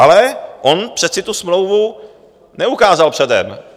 Ale on přece tu smlouvu neukázal předem.